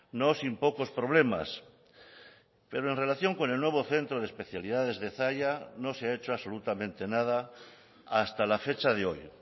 no sin pocos problemas pero en relación con el nuevo centro de especialidades de zalla no se ha hecho absolutamente nada hasta la fecha de hoy